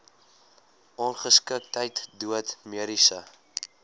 ongeskiktheid dood mediese